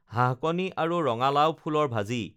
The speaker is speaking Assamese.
হাঁহকণী আৰু ৰঙালাও ফুলৰ ভাজি